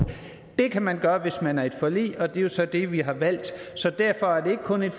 det kan man gøre hvis man er med i et forlig og det er så det vi har valgt derfor er det ikke kun et